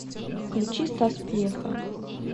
включи стас пьеха